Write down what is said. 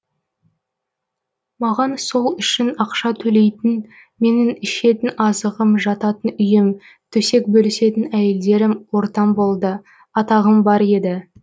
маған сол үшін ақша төлейтін менің ішетін азығым жататын үйім төсек бөлісетін әйелдерім ортам болды атағым бар еді